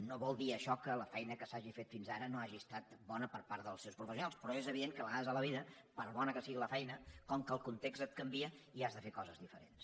no vol dir això que la feina que s’hagi fet fins ara no hagi estat bona per part dels seus professionals però és evident que a vegades a la vida per bona que sigui la feina com que el context et canvia has de fer coses diferents